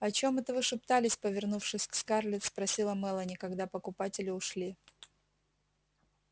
о чем это вы шептались повернувшись к скарлетт спросила мелани когда покупатели ушли